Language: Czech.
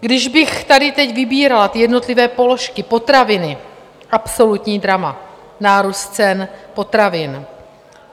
Když bych tady teď vybírala ty jednotlivé položky, potraviny - absolutní drama, nárůst cen potravin.